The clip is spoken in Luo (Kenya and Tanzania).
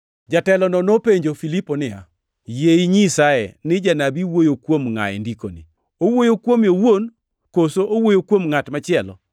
Jatelono nopenjo Filipo niya, “Yie inyisae ni Janabi wuoyo kuom ngʼa e Ndikoni? Owuoyo kuome owuon, koso owuoyo kuom ngʼat machielo?”